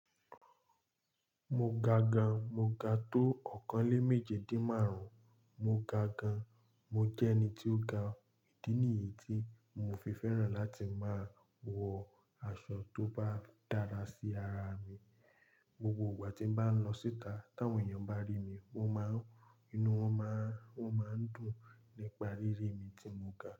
Mo ga gan, mo ga tó ọ̀kàn lé méje dín márùn-ún, mo ga gan. Mo jẹ́ ẹni tí ó ga, ìdí nìyí tí mo fi fẹ́ràn láti máa wọ aṣọ tó bá dára sí ara mi. Gbogbo ìgbà tí bá ń lọ síta, tí àwọn èèyàn bá rí mi, wọ́n má ń inú wọ́n má ń, wọ́n máa ń dùn nípa rírì mi tí mo ga.